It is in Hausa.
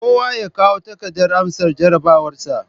Kowa ya kawo takardar amsa jarabawarsa